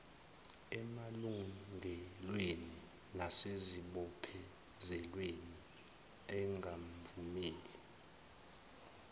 emalungelweni nasezibophezelweni engamvumela